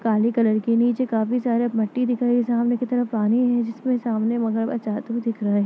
काले कलर के नीचे काफी सारे मट्टी दिख रही है जिसमे तरफ पानी है जिसमें सामने मगरमच्छ आते हुए दिख रहा है।